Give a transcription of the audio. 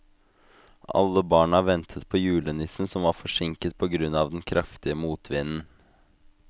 Alle barna ventet på julenissen, som var forsinket på grunn av den kraftige motvinden.